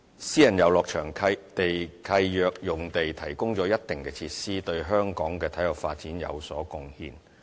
私人遊樂場地契約用地提供了一定的設施，對香港的體育發展有所貢獻。